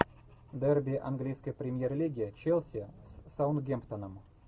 дерби английской премьер лиги челси с саутгемптоном